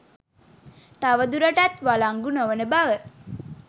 තව දුරටත් වලංගු නොවන බව